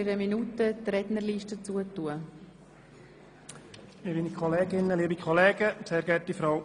Ich werde die Rednerliste in einer Minute schliessen.